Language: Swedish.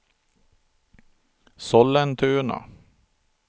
Sollentuna